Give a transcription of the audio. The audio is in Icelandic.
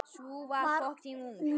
Sú var ung!